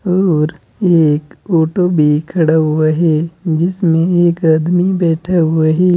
और एक ऑटो भी खड़ा हुआ है जिसमें एक आदमी बैठे हुआ है।